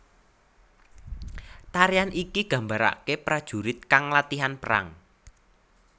Tarian iki gambarake prajurit kang latihan perang